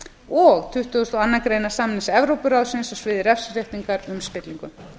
og tuttugustu og annarrar greinar samnings evrópuráðsins á sviði refsiréttar um spillingu